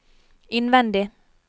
innvendig